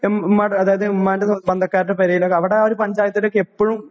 M മ്മ അതായത് മ്മാൻ്റെ സ്വന്തക്കാർടെ പെരേലെക്ക് അവടെ ഒരു പഞ്ചായത്തിലേക്ക് എപ്പഴും